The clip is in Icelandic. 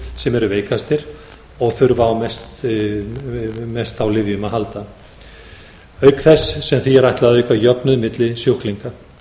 sem eru veikastir og þurfa mest á lyfjum að halda auk þess sem því er ætlað að auka jöfnuð milli sjúklinga